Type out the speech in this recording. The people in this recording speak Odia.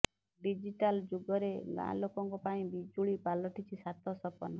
ଡିଜିଟାଲ ଯୁଗରେ ଗାଁଲୋକଙ୍କ ପାଇଁ ବିଜୁଳି ପାଲଟିଛି ସାତ ସପନ